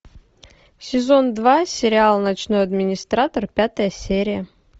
сезон два сериал ночной администратор пятая серия